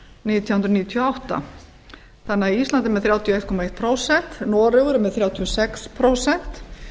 nítján hundruð níutíu og átta ísland er því með þrjátíu og einn komma eitt prósent noregur er með þrjátíu og sex prósent